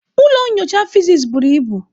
Ụlọ nyocha physics buru ibu.